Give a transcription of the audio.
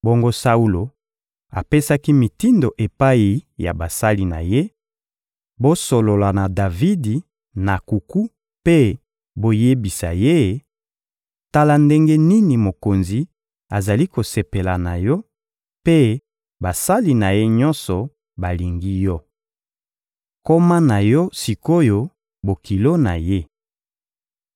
Bongo Saulo apesaki mitindo epai ya basali na ye: «Bosolola na Davidi na nkuku mpe boyebisa ye: ‹Tala ndenge nini mokonzi azali kosepela na yo, mpe basali na ye nyonso balingi yo! Koma na yo sik’oyo bokilo na ye!›»